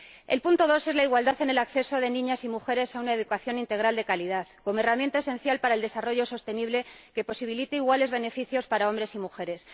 El segundo es la igualdad en el acceso de niñas y mujeres a una educación integral de calidad, como herramienta esencial para el desarrollo sostenible que posibilite iguales beneficios para hombres y mujeres.